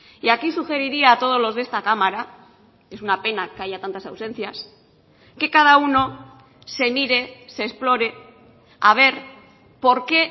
y aquí sugeriría a todos los de esta cámara es una pena que haya tantas ausencias que cada uno se mire se explore a ver por qué